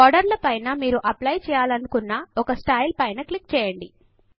border ల పైన మీరు అప్లై చేయాలి అని అనుకున్న ఒక స్టైల్ పైన క్లిక్ చేయండి